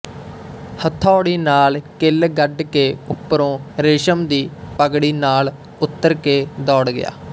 ਹਥੌੜੀ ਨਾਲ਼ ਕਿੱਲ ਗੱਡ ਕੇ ਉੱਪਰੋਂ ਰੇਸ਼ਮ ਦੀ ਪੱਗੜੀ ਨਾਲ਼ ਉਤਰ ਕੇ ਦੌੜ ਗਿਆ